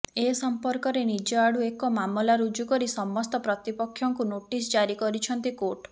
ଏ ସମ୍ପର୍କରେ ନିଜ ଆଡୁ ଏକ ମାମଲା ରୁଜୁ କରି ସମସ୍ତ ପ୍ରତିପକ୍ଷଙ୍କୁ ନୋଟିସ ଜାରି କରିଛନ୍ତି କୋର୍ଟ